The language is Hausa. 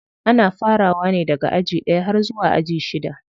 Ana farawa ne daga aji ɗaya har zuwa aji shida.